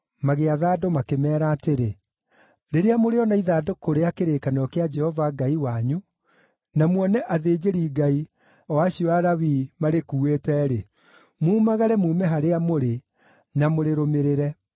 magĩatha andũ, makĩmeera atĩrĩ: “Rĩrĩa mũrĩona ithandũkũ rĩa kĩrĩkanĩro kĩa Jehova Ngai wanyu, na muone athĩnjĩri-Ngai, o acio Alawii, marĩkuuĩte-rĩ, mumagare muume harĩa mũrĩ na mũrĩrũmĩrĩre.